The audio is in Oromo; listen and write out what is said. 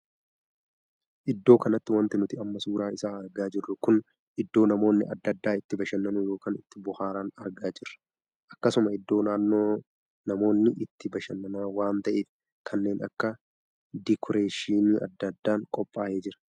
Iddoo kanatti wanti nuti amma suuraa isaa argaa jirru kun iddoo namoonni addaa addaa itti bashannanu ykn itti booharan argaa jirra. akkasuma iddoo namoonni itti bashanaan waan taheef kanneen akka dikureeshii addaa addaan qophaa'ee jira.